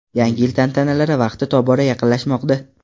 Yangi yil tantanalari vaqti tobora yaqinlashmoqda.